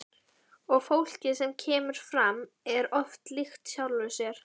Og fólkið sem kemur fram er oft líkt sjálfu sér.